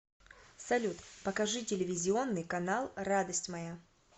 салют покажи телевизионный канал радость моя